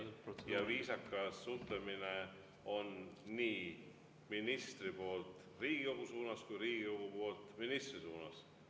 Ja viisakas suhtlemine on nii ministri poolt Riigikogu suunas kui Riigikogu poolt ministri suunas.